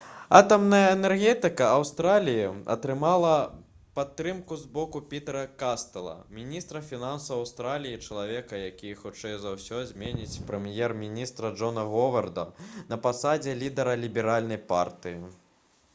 атамная энергетыка аўстраліі атрымала падтрымку з боку пітэра кастэла міністра фінансаў аўстраліі і чалавека які хутчэй за ўсё зменіць прэм'ер-міністра джона говарда на пасадзе лідара ліберальнай партыі